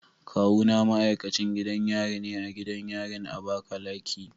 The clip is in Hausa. Kawuna ma'aikacin gidan yari ne a gidan yarin Abakaleki.